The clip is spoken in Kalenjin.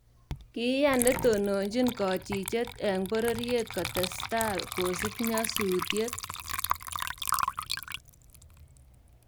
Kiiyaan netononjin kachicheet eng bororyeet koteesta kosiib nyasuutiet